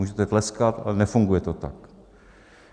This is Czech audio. Můžete tleskat, ale nefunguje to tak.